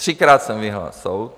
Třikrát jsem vyhrál soud.